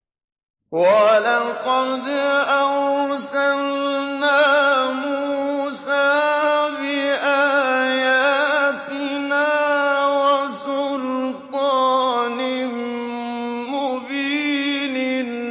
وَلَقَدْ أَرْسَلْنَا مُوسَىٰ بِآيَاتِنَا وَسُلْطَانٍ مُّبِينٍ